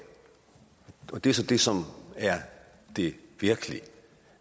og det er så det som er det virkelig